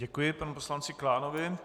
Děkuji panu poslanci Klánovi.